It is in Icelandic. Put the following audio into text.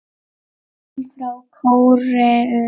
Kim frá Kóreu